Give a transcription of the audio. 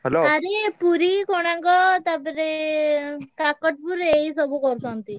ଆରେ ପୁରୀ କୋଣାର୍କ ତାପରେ କାକଟପୁର ଏଇ ସବୁ କରୁଛନ୍ତି।